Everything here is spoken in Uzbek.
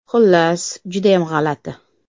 Xullas, judayam g‘alati.